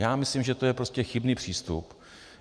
Já myslím, že to je prostě chybný přístup.